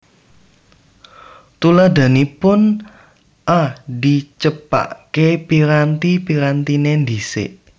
Tuladhanipun A Dicepakké piranti pirantiné dhisik